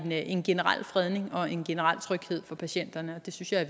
en generel fredning og en generel tryghed for patienterne og det synes jeg